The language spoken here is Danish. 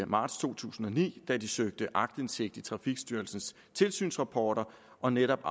marts to tusind og ni da de søgte aktindsigt i trafikstyrelsens tilsynsrapporter og netop